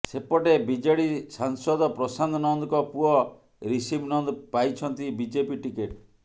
ସେପଟେ ବିଜେଡି ସାଂସଦ ପ୍ରଶାନ୍ତ ନନ୍ଦଙ୍କ ପୁଅ ରିଷଭ ନନ୍ଦ ପାଇଛନ୍ତି ବିଜେପି ଟିକେଟ